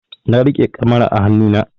Na riƙe kamara a hanu na